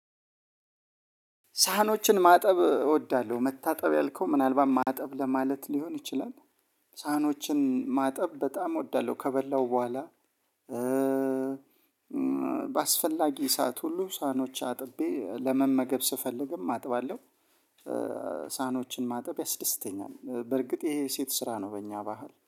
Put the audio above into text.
ሳህኖችን ማጠብ እወዳለሁ መታጠብ ያልከው ምናልባት ማጠብ ለማለት ሊሆን ይችላል። ሳህኖችን ማጠብ በጣም እወዳለሁ ከበላሁ በኋላ በአስፈላጊ ሰዓት ሁሉ ሳህኖች አጥቤ ለመመገብ ስፈልግም አጥባለሁ። ሳህኖችን ማጠብ ያስደስተኛል በርግጥ ይሄ የሴት ስራ ነው። በእኛ ባህል